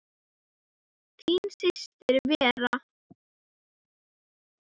Þín systir Vera.